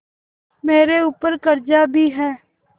मेरे ऊपर कर्जा भी है